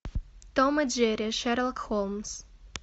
том и джерри шерлок холмс